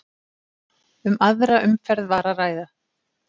Um aðra umferð var að ræða